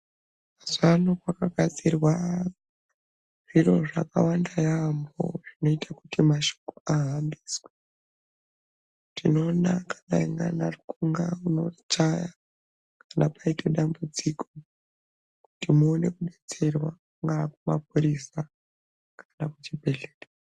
Mazuvano kwakagadzirwa zviro zvakawanda yaamho zvinoite kuti mashoko ahambiswe, tinoona kuti kana rutxunga unochaya kana paite dambudziko kuti muone kudetserwa kana kumapurisa kana kuchibhedhlera